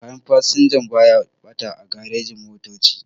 Kayan fasinja baya ɓata a garejin-motoci.